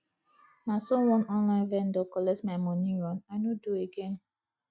na so one online vendor collect my moni run i no do again